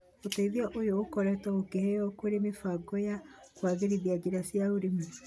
ũteithio ũyũ ũkoretwo ũkĩheo kũrĩ mĩbango ya kũagĩrithia njĩra cia ũrĩmi,